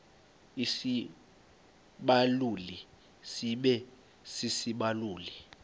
isibaluli sibe sisibaluli